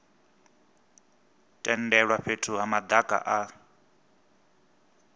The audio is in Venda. tendelwa fhethu ha madaka a